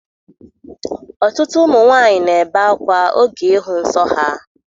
Ọtụtụ ụmụ nwaanyị na-ebe akwa oge ịhụ nsọ ha